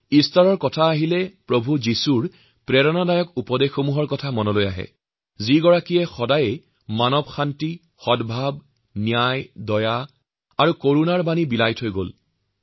Easter আহিলেই আমাক যীশুখ্ৰীষ্টৰ কথা মনত পেলায় যিগৰাকীয়ে মানৱতাৰ প্ৰতি শান্তি সদ্ভাৱ ন্যায় দয়া আৰু কৰুণাৰ বাণী প্ৰেৰণ কৰিছিল